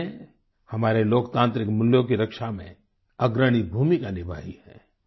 J P ने हमारे लोकतांत्रिक मूल्यों की रक्षा में अग्रणी भूमिका निभाई है